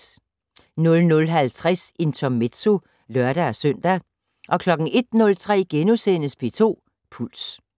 00:50: Intermezzo (lør-søn) 01:03: P2 Puls *